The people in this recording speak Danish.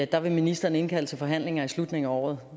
der vil ministeren indkalde til forhandlinger i slutningen af året